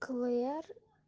клэр